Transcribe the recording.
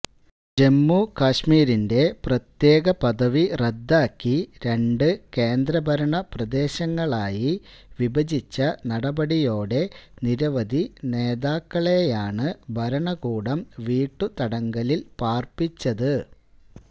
ജമ്മു കശ്മീരിന്റെ പ്രത്യേക പദവി റദ്ദാക്കി രണ്ട് കേന്ദ്രഭരണ പ്രദേശങ്ങളായി വിഭജിച്ച നടപടിയോടെ നിരവധി നേതാക്കളെയാണ് ഭരണകൂടം വീട്ടുതടങ്കലില് പാര്പ്പിച്ചത്